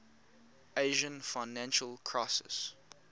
asian financial crisis